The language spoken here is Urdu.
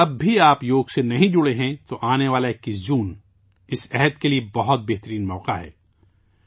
اگر آپ اب بھی یوگا سے جڑے نہیں ہیں، تو آنے والا 21 جون ، اس عہد کے لئے ایک بہترین موقع ہے